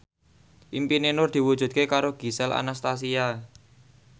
impine Nur diwujudke karo Gisel Anastasia